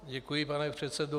Děkuji, pane předsedo.